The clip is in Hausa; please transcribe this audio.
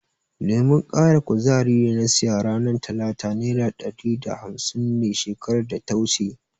Lemon ƙara kuzarin da na siya ranar talata nera ɗari da hafsin ne shekarar data wuce.